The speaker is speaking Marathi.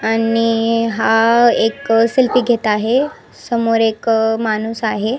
आणि ईई आ हा आ एक सेल्फी घेत आहे समोर एक माणुस आहे.